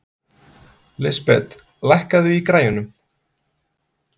Lisbeth, lækkaðu í græjunum.